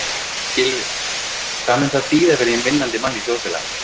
Gylfi, hvað mun það þýða fyrir hinn vinnandi mann í þjóðfélaginu?